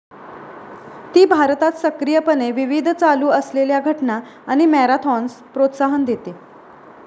ती भारतात सक्रियपणे विविध चालू असलेल्या घटना आणि मॅराथॉन्स प्रोत्साहन देते.